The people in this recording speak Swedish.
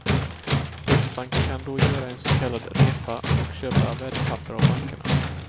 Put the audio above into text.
Riksbanken kan då göra en så kallad repa och köpa värdepapper av bankerna.